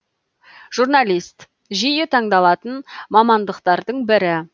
журналист жиі таңдалатын мамандықтардың бірі